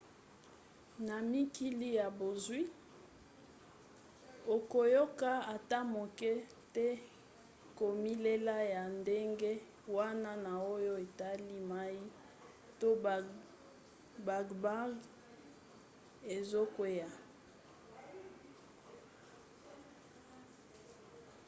na mikili ya bozwi okoyoka ata moke te komilela ya ndenge wana na oyo etali mai to bagbagba ezokwea